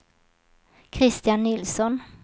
Christian Nilsson